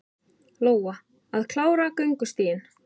Lóa: Að klára göngustíginn?